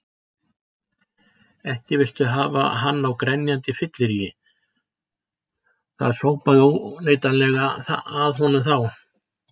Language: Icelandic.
Ekki viltu hafa hann á grenjandi fylleríi, það sópaði óneitanlega að honum þá.